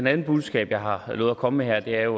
andet budskab jeg har lovet at komme med her er